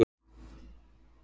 Hann varð árangurslaus